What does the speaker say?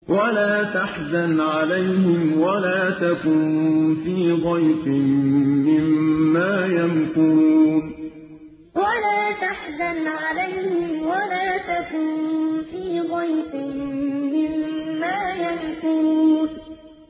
وَلَا تَحْزَنْ عَلَيْهِمْ وَلَا تَكُن فِي ضَيْقٍ مِّمَّا يَمْكُرُونَ وَلَا تَحْزَنْ عَلَيْهِمْ وَلَا تَكُن فِي ضَيْقٍ مِّمَّا يَمْكُرُونَ